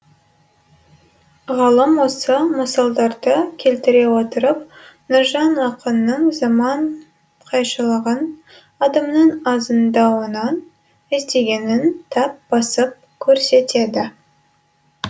ғалым осы мысалдарды келтіре отырып нұржан ақынның заман қайшылығын адамның азғындауынан іздегенін тап басып көрсетеді